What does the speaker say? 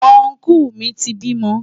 Ọnkú mi ti bímọ.